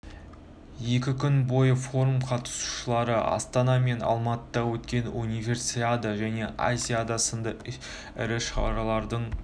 екі күн бойы форум қатысушылары астана мен алматыда өткен универсиада және азиада сынды ірі шаралардың